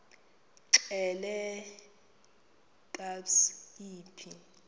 xelel kabs iphi